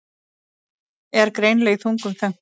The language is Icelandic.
Er greinilega í þungum þönkum.